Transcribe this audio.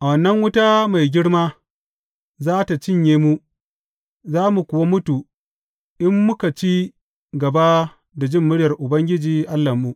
Wannan wuta mai girma za tă cinye mu, za mu kuwa mutu in muka ci gaba da jin muryar Ubangiji Allahnmu.